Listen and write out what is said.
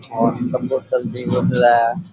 और बोतल भी दिख रा है।